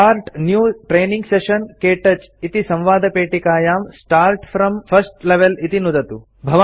start new training session - क्तौच इति संवादपेटिकायां स्टार्ट् फ्रॉम् फर्स्ट लेवेल इति नुदतु